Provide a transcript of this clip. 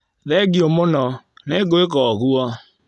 Thengio mũno. Nĩngwĩka ũguo.